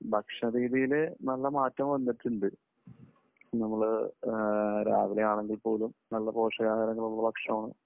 ഭക്ഷണരീതിയിൽ നല്ല മാറ്റം വന്നിട്ടുണ്ട്. നമ്മൾ രാവിലെ ആണെങ്കിൽ പോലും നല്ല പോഷകാഹാരങ്ങൾ ഉള്ള ഭക്ഷണം ആണ്